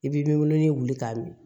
I b'i wolo ni wuli k'a min